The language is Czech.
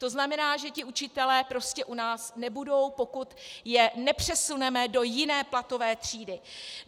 To znamená, že ti učitelé prostě u nás nebudou, pokud je nepřesuneme do jiné platové třídy.